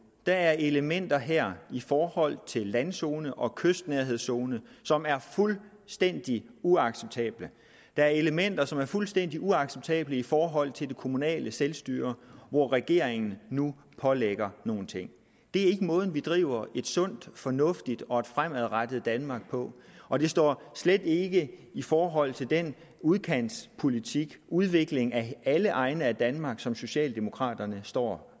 der er elementer her i forhold til landzone og kystnærhedszone som er fuldstændig uacceptable der er elementer som er fuldstændig uacceptable i forhold til det kommunale selvstyre hvor regeringen nu pålægger nogle ting det er ikke måden at vi driver et sundt fornuftigt og fremadrettet danmark på og det står slet ikke i forhold til den udkantspolitik udvikling af alle egne af danmark som socialdemokraterne står